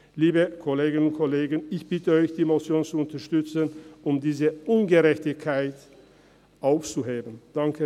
Liebe Kolleginnen und Kollegen, ich bitte Sie, diese Motion zu unterstützen, um diese Ungerechtigkeit auszuhebeln.